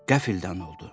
Qəfildən oldu.